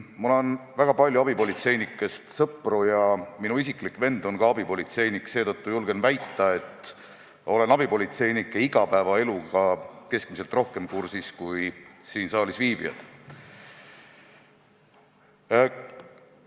Mul on väga palju abipolitseinikest sõpru ja mu enda vend on abipolitseinik, seetõttu julgen väita, et olen abipolitseinike igapäevaeluga rohkem kursis kui teised siin saalis viibijad.